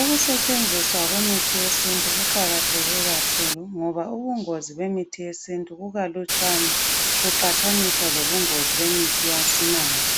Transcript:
Ukusetshenziswa kwemithi yesintu kuqakathe kakhulu ngoba ubungozi bemithi yesintu kukalutshwane kuqathaniswa lobungozi bemithi yesimanje.